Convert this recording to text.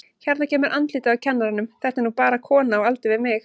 Hérna kemur andlitið á kennaranum, þetta er nú bara kona á aldur við mig.